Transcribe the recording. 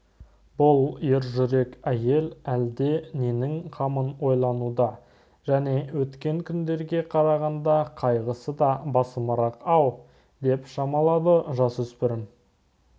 бұл ержүрек әйел әлде ненің қамын ойлануда және өткен күндерге қарағанда қайғысы да басымырақ-ау деп шамалады жасөспірім